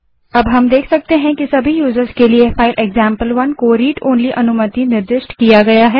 यहाँ हम देख सकते हैं कि सभी यूज़र्स के लिए फाइल एक्जाम्पल1 को read ओनली अनुमति निर्दिष्ट की गयी है